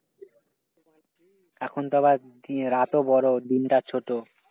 এখন তো আবার রাত ও বড় দিন টা ছোট।